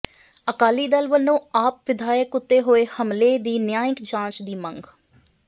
ਅਕਾਲੀ ਦਲ ਵੱਲੋਂ ਆਪ ਵਿਧਾਇਕ ਉੱਤੇ ਹੋਏ ਹਮਲੇ ਦੀ ਨਿਆਂਇਕ ਜਾਂਚ ਦੀ ਮੰਗ